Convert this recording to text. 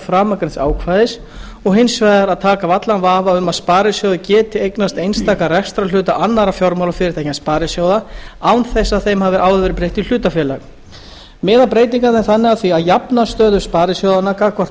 framangreinds ákvæðis og hins vegar að taka af allan vafa um að sparisjóðir geti eignast einstaka rekstrarhluta annarra fjármálafyrirtækja en sparisjóða án þess að þeim hafi áður verið breytt í hlutafélag miða breytingarnar þannig að því að jafna stöðu sparisjóðanna gagnvart